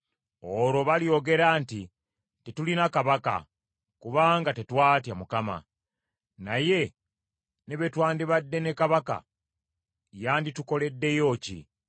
Olwo balyogera nti, “Tetulina kabaka kubanga tetwatya Mukama . Naye ne bwe twandibadde ne kabaka, yanditukoleddeyo ki?”